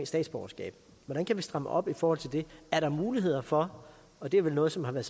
statsborgerskab hvordan kan vi stramme op i forhold til det er der muligheder for og det er vel noget som har været